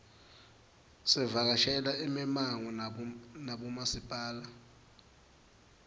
savakashela imimango nabomasipala